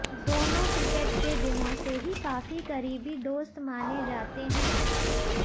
दोनों क्रिकेट के दिनों से ही काफी करीबी दोस्त माने जाते हैं